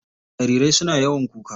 Jarirai suna yawan kuka.